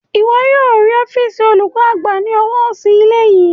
Ìwọ yóò rí ọ́fììsì olùkọ́ àgbà ní ọwọ́ òsì ilé yìí